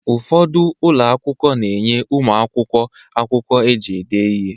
Ụfọdụ ụlọ akwụkwọ na-enye ụmụ akwụkwọ akwụkwọ eji ede ihe